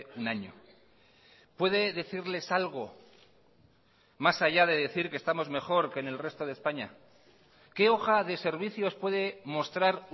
un año puede decirles algo más allá de decir que estamos mejor que en el resto de españa qué hoja de servicios puede mostrar